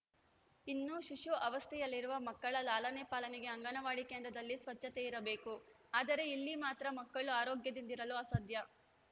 ಇನ್ನು ಶಿಶು ಅವಸ್ಥೆಯಲ್ಲಿರುವ ಮಕ್ಕಳ ಲಾಲನೆ ಪಾಲನೆಗೆ ಅಂಗನವಾಡಿ ಕೇಂದ್ರದಲ್ಲಿ ಸ್ವಚ್ಚತೆ ಇರಬೇಕು ಆದರೆ ಇಲ್ಲಿ ಮಾತ್ರ ಮಕ್ಕಳು ಆರೋಗ್ಯದಿಂದಿರಲು ಅಸಾಧ್ಯ